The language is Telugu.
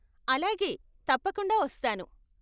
అలాగే, తప్పకుండా వస్తాను.